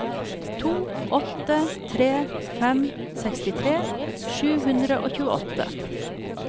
to åtte tre fem sekstitre sju hundre og tjueåtte